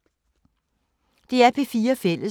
DR P4 Fælles